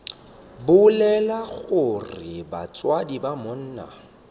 bolela gore batswadi ba monna